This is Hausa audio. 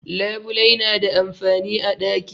Labulai na da amfani a daki.